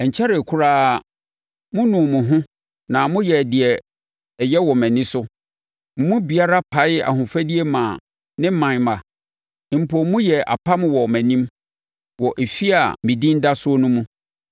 Ɛnkyɛree koraa monuu mo ho na moyɛɛ deɛ ɛyɛ wɔ mʼani so: Mo mu biara paee ahofadie maa ne ɔman mma. Mpo moyɛɛ apam wɔ mʼanim, wɔ efie a me Din da soɔ no mu.